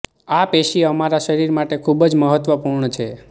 આ પેશી અમારા શરીર માટે ખૂબ જ મહત્વપૂર્ણ છે